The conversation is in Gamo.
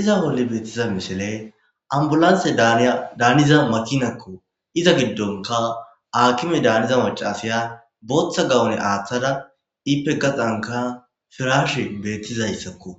iza bolle beettiza mishile ambulantse daaniza matinakko iza giddonka akime daaniza macasaya booththa gawone aaththada ipe gaxanka firash beettizayssakko